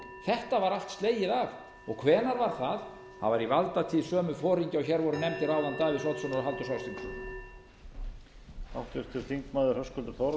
þetta var allt slegið af hvenær var það það var í valdatíð sömu foringja og hér voru nefndir áðan davíðs oddssonar og halldórs ásgrímssonar